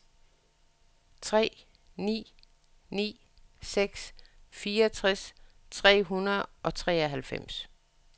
tre ni ni seks fireogtres tre hundrede og treoghalvfems